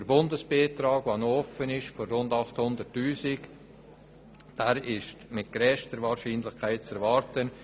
Der Bundesbeitrag von 800 000 Franken ist mit grösster Wahrscheinlichkeit zu erwarten.